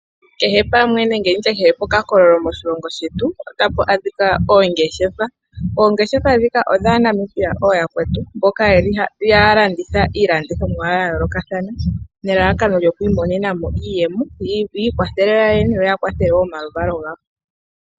Kehe pamwe nenge kehe pokakololo moshilongo shetu otapu adhika oongeshefa. Oongeshefa ndhika odhAanamibia ooyakwetu mboka haya landitha iilandithomwa ya yoolokathana nelalakano yi imonene mo iiyemo yi ikwathele yoyene yo ya kwathele wo omaluvalo gawo.